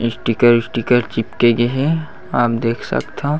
sticker sticker चिपके गेहेआप देख सकथव --